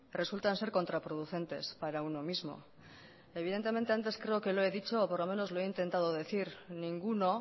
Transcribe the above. resultan ser contraproducentes para uno mismo evidentemente antes creo que lo he dicho o por lo menos lo he intentado decir ninguno